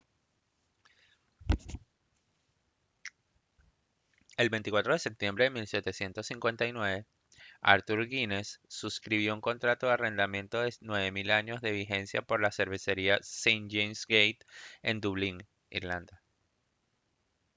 el 24 de septiembre de 1759 arthur guinness suscribió un contrato de arrendamiento de 9000 años de vigencia por la cervecería st james's gate en dublín irlanda